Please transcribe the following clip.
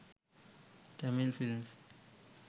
tamil films